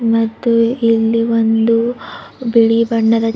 ಮತ್ತು ಇಲ್ಲಿ ಒಂದು ಬಿಳಿ ಬಣ್ಣದ--